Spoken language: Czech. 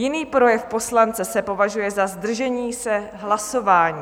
Jiný projev poslance se považuje za zdržení se hlasování.